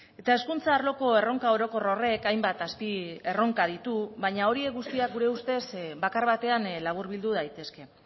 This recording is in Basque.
eta hezkuntza arloko erronka orokor horrek hainbat azpierronka ditu baina horiek guztiak gure ustez bakar batean laburbildu daitezke